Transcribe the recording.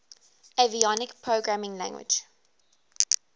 avionics programming language